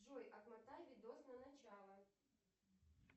джой отмотай видос на начало